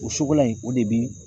O sogola in o de bi